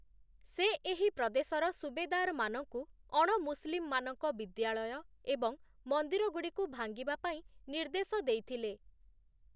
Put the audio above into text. ସେ ଏହି ପ୍ରଦେଶର ସୁବେଦାର୍‌ମାନଙ୍କୁ ଅଣ-ମୁସଲିମ୍‌ମାନଙ୍କ ବିଦ୍ୟାଳୟ ଏବଂ ମନ୍ଦିରଗୁଡ଼ିକୁ ଭାଙ୍ଗିବା ପାଇଁ ନିର୍ଦ୍ଦେଶ ଦେଇଥିଲେ ।